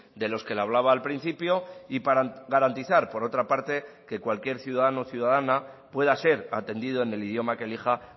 de los que le hablaba al principio y para garantizar por otra parte que cualquier ciudadano o ciudadana pueda ser atendido en el idioma que elija